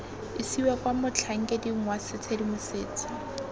isiwa kwa motlhankeding wa tshedimosetso